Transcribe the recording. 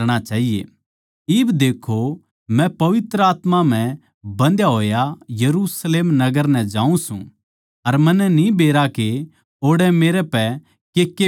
इब देक्खो मै पवित्र आत्मा म्ह बन्धया होया यरुशलेम नगर नै जाऊँ सूं अर मन्नै न्ही बेरा के ओड़ै मेरै पै केके बीतैगी